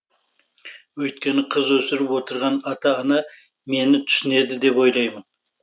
өйткені қыз өсіріп отырған ата ана мені түсінеді деп ойлаймын